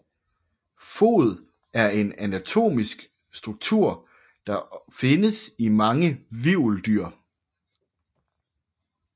Fod er en anatomisk struktur der findes i mange hvirveldyr